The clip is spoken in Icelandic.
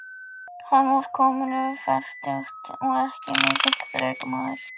Hann var kominn yfir fertugt og ekki mikill þrekmaður.